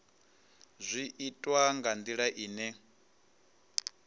zwi itwa nga ndila ine